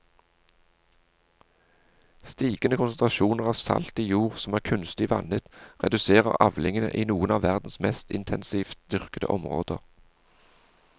Stigende konsentrasjoner av salt i jord som er kunstig vannet reduserer avlingene i noen av verdens mest intensivt dyrkede områder.